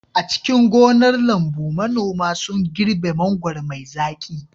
A cikin gonar lambu, manoma sun girbe mangwaro mai zaƙi.